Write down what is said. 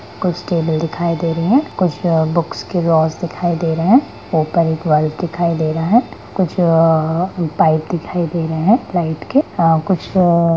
कुछ टेबल दिखाई दे रहे है कुछ बुक्स के लॉज दिखाई दे रहे है ऊपर एक वायर दिखाई दे रहे है कुछ अअ पाइप दिखाई दे रहे है फ्लाइट के कुछ अ अ--